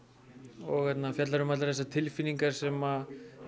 og fjallar um allar þessar tilfinningar sem